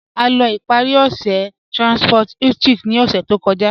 A lọ́ ìparí ọṣẹ̀ ní Transcorp Hilton ní ọ̀ṣẹ̀ tó kọ̀já.